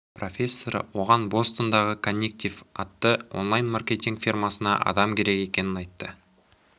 профессоры оған бостондағы коннектив атты онлайн маркетинг фирмасына адам керек екенін айтты